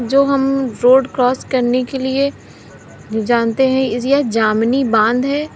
जो हम road cross करने के लिए जानते हैं यह जामीनी बांध है।